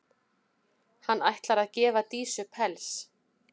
Hann ætlar að gefa Dísu pels.